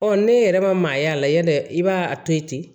ne yɛrɛ ma maa y'a la yan dɛ i b'a a to yen ten